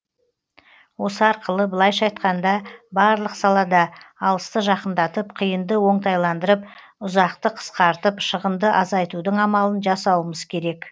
осы арқылы былайша айтқанда барлық салада алысты жақындатып қиынды оңтайландырып ұзақты қысқартып шығынды азайтудың амалын жасауымыз керек